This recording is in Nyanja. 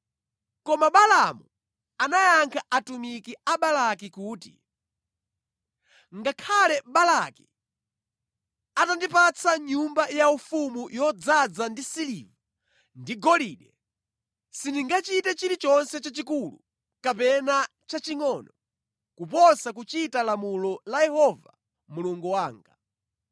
Koma Balaamu anayankha atumiki a Balaki kuti, “Ngakhale Balaki atandipatsa nyumba yaufumu yodzaza ndi siliva ndi golide sindingachite chilichonse chachikulu kapena chachingʼono kuposa kuchita lamulo la Yehova Mulungu wanga.